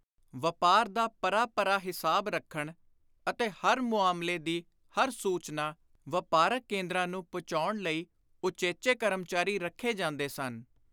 ਵਾਪਾਰ ਦਾ ਪਰਾ ਪਰਾ ਹਿਸਾਬ ਰੱਖਣ ਅਤੇ ਹਰ ਮੁਆਮਲੇ ਦੀ ਹਰ ਸੁਚਨਾ ਵਾਪਾਰਕ ਕੇਂਦਰਾਂ ਨੂੰ ਪੁਚਾਉਣ ਲਈ ਉਚੇਚੇ ਕਰਮਚਾਰੀ ਰੱਖੇ ਜਾਂਦੇ ਸਨ।